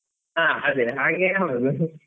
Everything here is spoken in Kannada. ಹಾ ಅದೇ ಹಾಗೆ ಆಗುದು .